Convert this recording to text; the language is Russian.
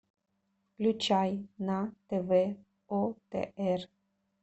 включай на тв отр